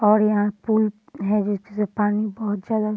और यहाँ एक पूल है जिससे पानी बहुत ज्यादा --